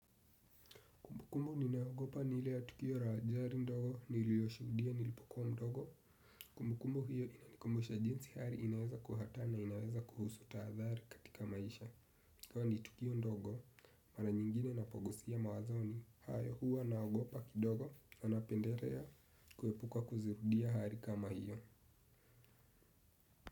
Kumbukumbu ninayoogopa ni ile ya tukio ra gari ndogo niliyoshuhudia nilipokuwa mdogo. Kumbukumu hiyo inanikumbusha jinsi hari inaweza kuwa hatari inaweza kuhusu taadhari katika maisha. Kwani tukio ndogo mara nyingine napogusia mawazoni haya huwa naogopa kidogo na napenderea kuepuka kuzirudia hari kama hiyo.